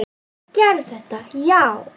Ég gerði þetta, já.